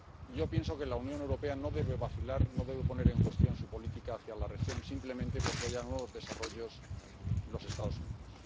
Yo pienso que la Unión Europea no debe vacilar, no debe poner en cuestión su política hacia la región simplemente porque haya nuevos desarrollos en los Estados Unidos.